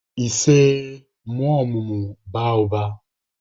Isee! mụọ ọmụmụ, baa ụba.